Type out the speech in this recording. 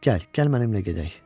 Gəl, gəl mənimlə gedək.